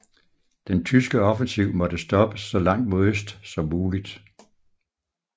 Den tyske offensiv måtte stoppes så langt mod øst som muligt